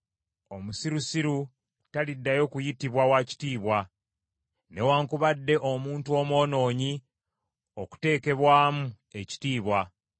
Omusirusiru taliddayo kuyitibwa wa kitiibwa, newaakubadde omuntu omwonoonyi okuteekebwamu ekitiibwa.